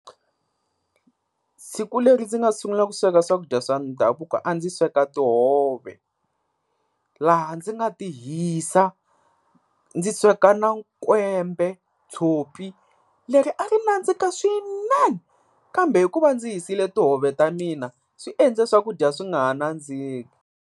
Siku leri ndzi nga sungula ku sweka swakudya swa ndhavuko a ndzi sweka tihove, laha ndzi nga ti hisa. Ndzi sweka na kwembe, tshopi leri a ri nandzika swinene, kambe hikuva ndzi hisile tihove ta mina swi endle swakudya swi nga ha nandziki.